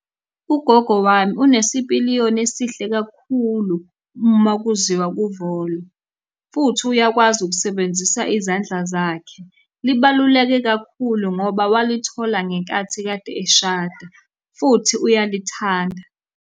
Ugogo wami unesipiliyoni esihle kakhulu uma kuziwa kuvolo, futhi uyakwazi ukusebenzisa izandla zakhe. Libaluleke kakhulu ngoba walithola ngenkathi kade eshada, futhi uyalithanda.